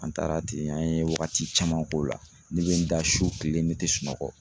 An taara ten, an ye wagati caman k'o la. Ne be n da su kile ne te sunɔgɔ.